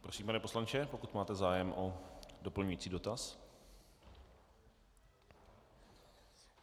Prosím pane poslanče, pokud máte zájem o doplňující dotaz.